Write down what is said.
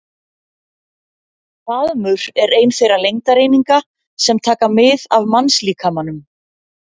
Faðmur er ein þeirra lengdareininga sem taka mið af mannslíkamanum.